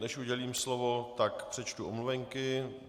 Než udělím slovo, tak přečtu omluvenky.